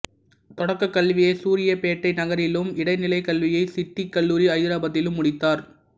தொடக்க கல்வியை சூரியபேட்டை நகரிலும் இடைநிலை கல்வியை சிட்டி கல்லூரி ஐதராபாத்திலும் முடித்தார்